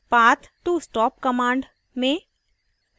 path to stop command: में